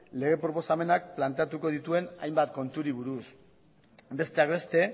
lege proposamenak planteatuko dituen hainbat konturi buruz besteak beste